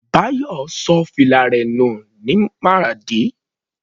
Bayo ṣọ fìlà rẹ̀ nù Maradi.